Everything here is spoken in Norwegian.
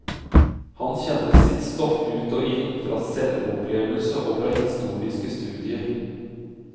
Han kjenner sitt stoff ut og inn, fra selvopplevelse og fra historiske studier.